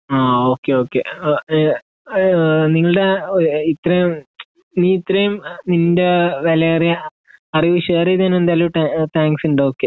ആ okay okay ah ah നിങ്ങളുടെ ഇത്രയും നീ ഇത്രയും നിന്റെ വിലയേറിയ അറിവ് ഷെയർ ചെയ്തതിന് എന്തായാലും താന് താങ്ക്സ് ഉണ്ട് ഓകെ ശെരി